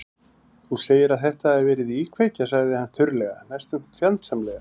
Þú segir að þetta hafi verið íkveikja- sagði hann þurrlega, næstum fjandsamlega.